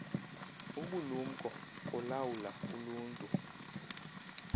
ubulumko kolawula uluntu